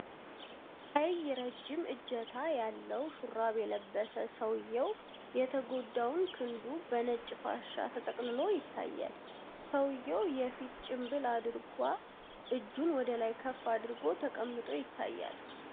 ቀይ ረጅም እጀታ ያለው ሹራብ የለበሰ ሰውየው፣ የተጎዳውን ክንዱን በነጭ ፋሻ ተጠቅልሎ ይታያል። ሰውየው የፊት ጭንብል አድርጎ እጁን ወደ ላይ ከፍ አድርጎ ተቀምጦ ይታያል።